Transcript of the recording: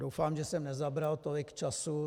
Doufám, že jsem nezabral tolik času.